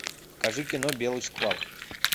покажи кино белый шквал